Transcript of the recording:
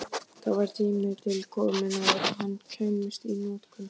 Það var tími til kominn að hann kæmist í notkun!